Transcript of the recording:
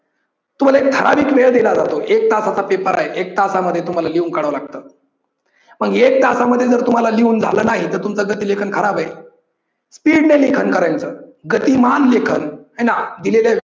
तुम्हाला एक ठाराविक वेळ दिला जातो एक तासाचा paper आहे, एक तासामध्ये तुम्हाला लिहून काढाव लागतं. पण एक तासामध्ये जर तुम्हाला लिहून झाल नाही तर तुमचं गती लेखन खराब आहे. speed ने लेखन करायचं, गतिमान लेखन, हाय ना! दिलेल्या